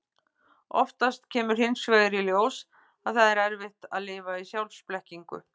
Oftast kemur hins vegar í ljós að það er erfitt að lifa í sjálfsblekkingu.